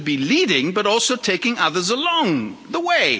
We should be leading but also taking others along the way.